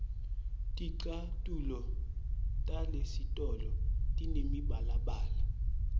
ticatfulo talesitolo tinemibalabala